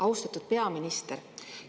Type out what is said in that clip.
Austatud peaminister!